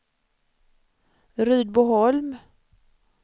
Rydboholm